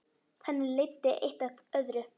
Þannig leiddi eitt af öðru.